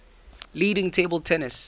leading table tennis